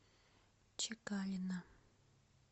чекалина